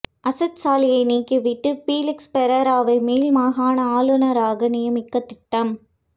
அசாத் சாலியை நீக்கி விட்டு பீலிக்ஸ் பெரேராவை மேல் மாகாண ஆளுநராக நியமிக்க திட்டம்